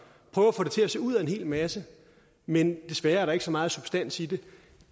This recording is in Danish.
prøver at få det til at se ud af en hel masse men desværre er der ikke så meget substans i det